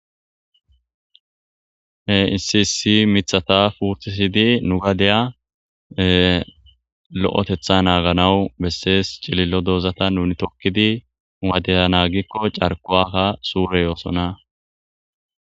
Heisisi mithata puutisidi nugadeya lo7etetha naaganawu bessees cilillo doozata nuni tokkidi nugadeya naagikko carkuwaka suure yoosona.